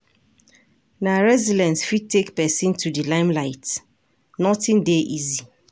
Na resilience fit take pesin to di limelight, nothing dey easy.